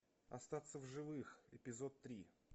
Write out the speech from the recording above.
остаться в живых эпизод три